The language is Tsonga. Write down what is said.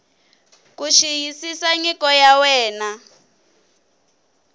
ku xiyisisa nyiko ya wena